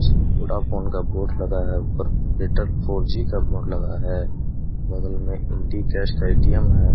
Vodafone का board लगा है ऊपर एर्टल फॉर जी का बोर्ड लगा है। बगल में इंडी-कैश का ए.टी.एम. है ।